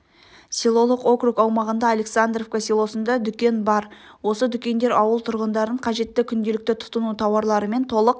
селолық округ аумағында александровка селосында дүкен бар осы дүкендер ауыл тұрғындарын қажетті күнделікті тұтыну тауарларымен толық